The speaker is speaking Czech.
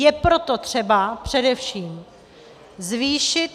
Je proto třeba především zvýšit...